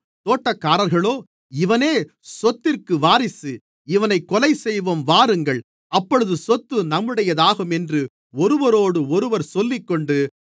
தோட்டக்காரர்களோ இவனே சொத்திற்கு வாரிசு இவனைக் கொலைசெய்வோம் வாருங்கள் அப்பொழுது சொத்து நம்முடையதாகும் என்று ஒருவரோடொருவர் சொல்லிக்கொண்டு